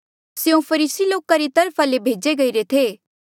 स्यों फरीसी लोका री तरफा ले भेजे गईरे थे